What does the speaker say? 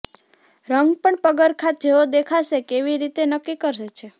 રંગ પણ પગરખાં જેવો દેખાશે કેવી રીતે નક્કી કરે છે